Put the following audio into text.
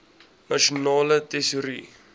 nasionale tesourie